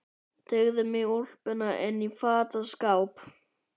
Teygði mig í úlpuna inn í fataskáp.